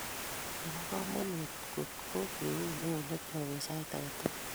Nebo komonut kot ko keun eunekyok eng sait age tugul